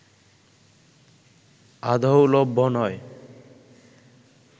আদৌ লভ্য নয়